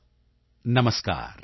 DSSHVK